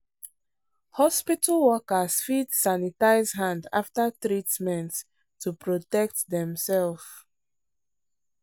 hospital workers fit sanitize hand after treatment to protect demself.